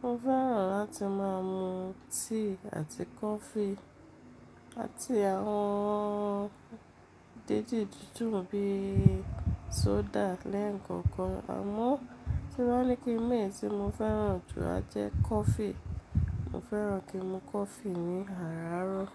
Mo fẹ́ràn láti máa mu tíì àti kọfí, àti àwọn déédé dúndùn bí i sódà lẹ́ẹ̀kọ̀kan, àmọ́ tí wọ́n bá ní pé ẹ̀yí tí mo fẹ́ràn jù á jẹ́ kọfí. Mo fẹ́ràn kí n mu kọfí ní àràárọ̀.